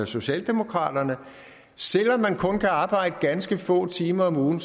socialdemokraterne selv om man kun kan arbejde ganske få timer om ugen